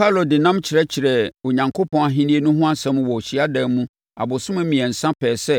Paulo de nnam kyerɛkyerɛɛ Onyankopɔn Ahennie no ho asɛm wɔ hyiadan mu abosome mmiɛnsa pɛɛ sɛ